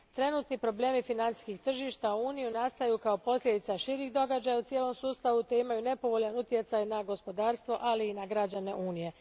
Trenutačni problemi financijskih tržišta u Uniji nastaju kao posljedica širih događaja u cijelom sustavu te imaju nepovoljan utjecaj na gospodarstvo, ali i na građane Unije.